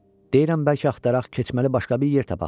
Deyirəm bəlkə axtaraq keçməli başqa bir yer tapaq."